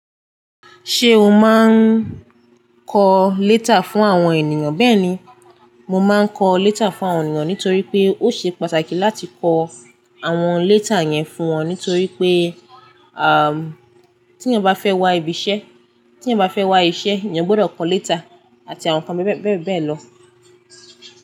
Ṣé o máa ń kọ léta fún àwọn ènìyàn? Bẹ́ẹ̀ni, mo máa ń kọ léta fún àwọn ènìyàn nítorí pé ó ṣe pàtàkì láti kọ àwọn léta yẹn fún wọn nítorí pé, à, tí èèyàn bá fẹ́ wá ibi iṣẹ́, tí èèyàn bá fẹ́ wá iṣẹ́, eyan gbọ́dọ̀ kọ léta àti àwọn ǹkan bíbẹ́ẹ̀bẹ́ẹ̀ lọ.